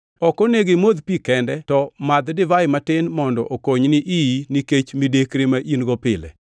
Ok onego imodh pi kende, to madh divai matin mondo okonyni iyi nikech midekre ma in-go pile.